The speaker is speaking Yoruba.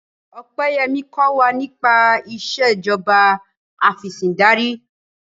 Opeyemi kò wá nipa Ìṣèjọba Afẹ̀sìndarí